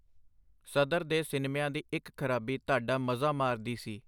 ਸਦਰ ਦੇ ਸਿਨਮਿਆਂ ਦੀ ਇਕ ਖਰਾਬੀ ਤਹਡਾ ਮਜ਼ਾ ਮਾਰਦੀ ਸੀ.